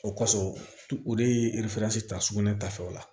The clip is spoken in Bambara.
O kɔfɛ o de ye ta sugunɛ ta fɛnw la